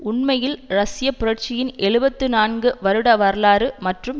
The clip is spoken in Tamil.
உண்மையில் ரஷ்ய புரட்சியின் எழுபத்து நான்கு வருட வரலாறு மற்றும்